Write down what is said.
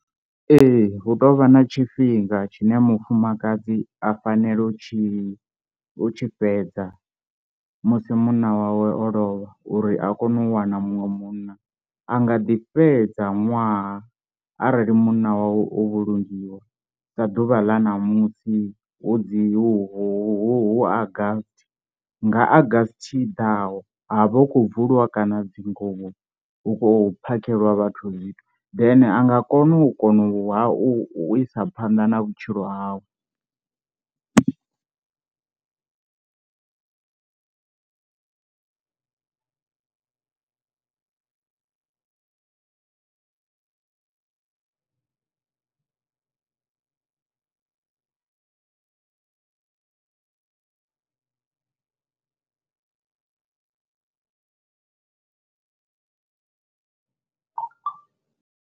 Ee hu tovha na tshifhinga tshine mufumakadzi a fanela u tshi u tshi fhedza musi munna wawe o lovha uri a kone u wana muṅwe munna, a nga ḓi fhedza ṅwaha arali munna wawe o vhulungiwa sa ḓuvha ḽa ṋamusi hu dzi hu hu August nga August i ḓaho ha vha hu khou bvuliwa kana dzinguvho hu khou phakheliwa vhathu zwithu then anga kona u kona u ha u isa phanḓa na vhutshilo hawe.